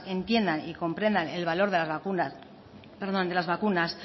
entiendan y comprendan el valor de las vacunas